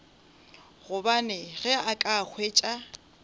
gobane ge a ka hwetša